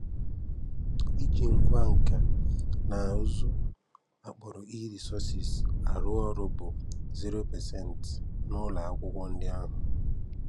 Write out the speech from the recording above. Ịji ngwa nka na ụzụ, a kpọrọ e-resources, arụ ọrụ bụ 0% n'ụlọ akwụkwọ ndị ahụ.